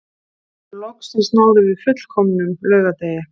Loksins náðum við fullkomnum laugardegi